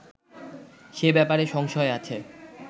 সে ব্যাপারে সংশয় আছে